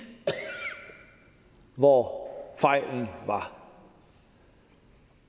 hvor fejlen var